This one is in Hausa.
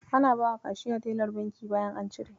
Ana bawa Kashiya teller banki bayan an cike.